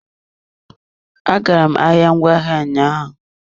Agara m ahịa ngwaahịa ụnyaahụ.